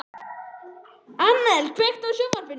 Annel, kveiktu á sjónvarpinu.